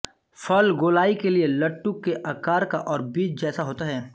फल गोलाई लिए लट्टु के आकार का और बीज जैसा होता है